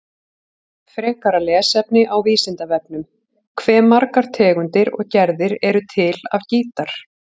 Frekara lesefni á Vísindavefnum: Hve margar tegundir og gerðir eru til af gítar?